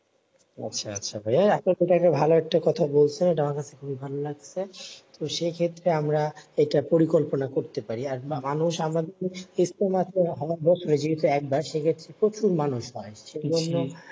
ও আচ্ছা আচ্ছা ভাইয়া আপনি তো ভালো একটা কথা বলছেন আমার খুবি ভালো লাগছে। তো সেক্ষেত্রে আমরা এটা পরিকল্পনা করতে পারি। আর মানুষ আমাদের সেক্ষেত্র প্রচুর মানুষ হয়। সে জন্য